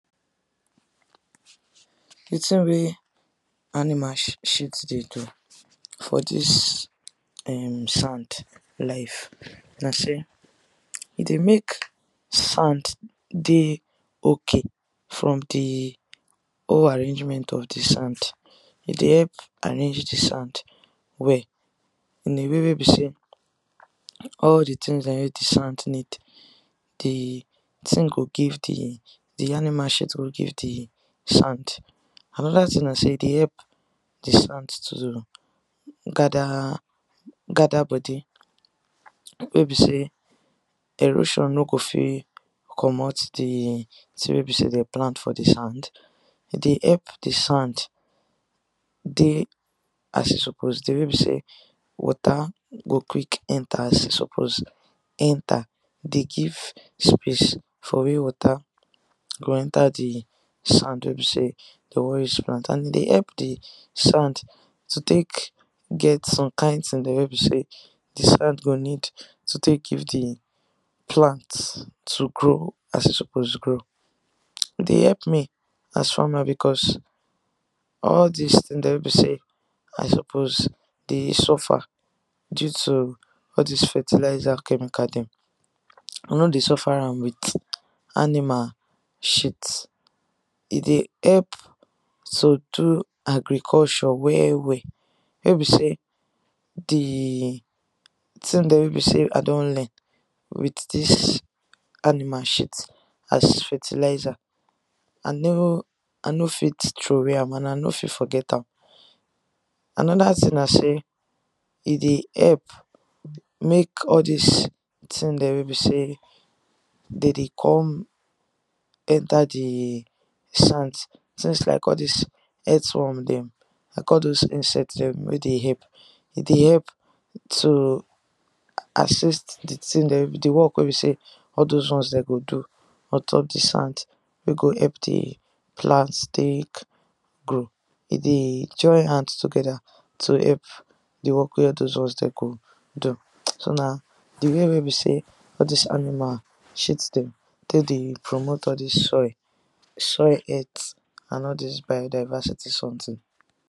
D tin wey animal shit de do for this um sand life na say e dey make sand de okay from d whole arrangement of d sand, e de help arrange d sand well in a way wey be say all d tins dem wey d sand need d tin go give d d animal shit go give d sand, another tin na say e dey help d sand to gather gather body wey be say erosion no go fit comot d tin wey be say dem plant for d sand e de help d sand dey as e suppose dey wey be say water go quick enter as e suppose enter e de give space for wey water go enter d sand wey be say de wan use plant and e de epp d sand to take get some kind tins wey be say d sand go need to take give d plant to grow as e suppose grow, e de help me as farmer because all dis tins dem wey be I suppose de suffer due to all dis fertiliser chemical dem, I no de suffer am with animal shit e de help to do agriculture well well wey be say d tin there wey be say I don learn with dis animal shit as fertiliser, I no fit troway am and I no fit forget am. another tin na say e de help make all this tin dem wey be say de de come enter d sand tins like all this earthworm them, like all those insect dem wey de help e de help to assist d tin the work wey be say all those ones dem go do on top d sand wey go help d plant take grow, e de join hand together to help wey all those ones de go do So na d way wey be say all this animal shit dem take de promote all this soil, soil earth and all this bio diversity something.